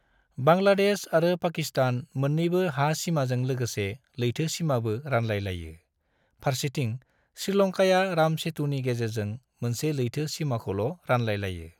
बांग्लादेश आरो पाकिस्तान मोननैबो हा सिमाजों लोगोसे लैथो सिमाबो रानलाय लायो, फारसेथिं श्रीलंकाया राम सेतुनि गेजेरजों मोनसे लैथो सिमाखौल' रानलाय लायो।